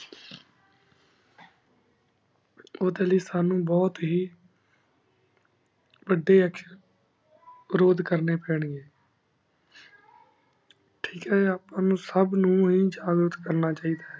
ਉਦਯ ਲੈ ਸਾਨੂ ਬੁਹਤ ਹੇਇ ਵਾਦਾਂ ਚ ਉਰੂਦ ਕਰਨੀ ਪਾਣੀ ਆਯ ਥੇਕ ਆਯ ਅਪਾ ਸਬ ਨੂ ਹੇ ਉਜਾਘ੍ਰਟ ਕਰਨਾ ਚਿੜਾ